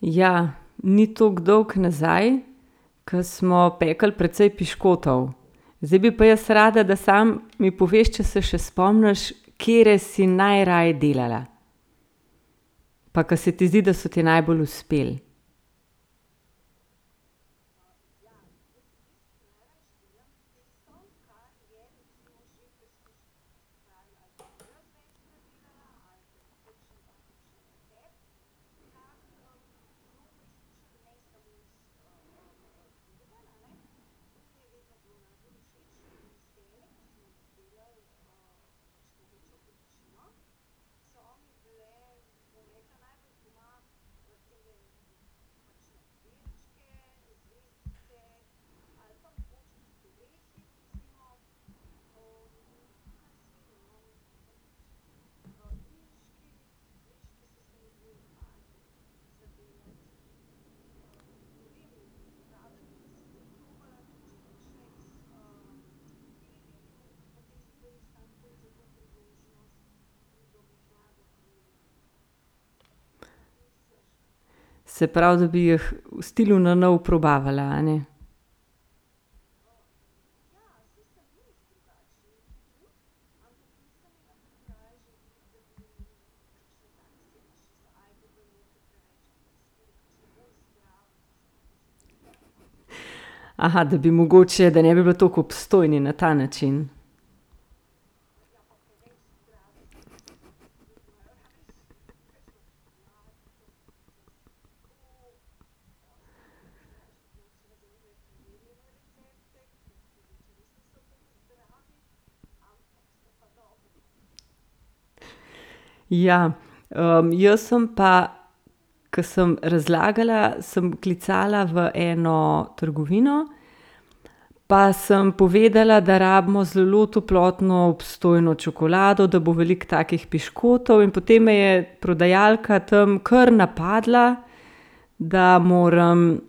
Ja. Ni toliko dolgo nazaj, ke smo pekli precej piškotov. Zdaj bi pa jaz rada, da samo mi poveš, če se še spomniš, katere si najraje delala? Pa ke se ti zdi, da so ti najbolj uspeli. Se pravi, da bi jih v stilu na novo probavala, a ne? da bi mogoče, da ne bili tako obstojni, na ta način. Ja. jaz sem pa, ke sem razlagala, sem klicala v eno trgovino, pa sem povedala, da rabimo zelo toplotno obstojno čokolado, da bo veliko takih piškotov, in potem me je prodajalka tam kar napadla, da moram